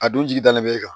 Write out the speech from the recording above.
A dun jigi dannen bɛ e kan